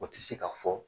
O tɛ se ka fɔ